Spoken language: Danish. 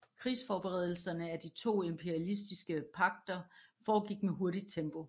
Krigsforberedelserne af disse to imperialistiske pagter foregik med hurtigt tempo